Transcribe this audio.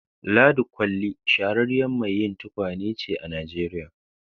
Ladi kolli shahararriyar mai yi tukwane ne a Nijeriya